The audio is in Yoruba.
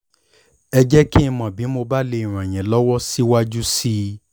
ẹ jẹ́ kí n mọ̀ bí mo bá lè ràn yín lọ́wọ́ síwájú sí i